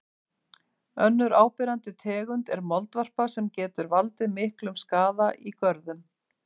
Önnur áberandi tegund er moldvarpa sem getur valdið miklum skaða í görðum.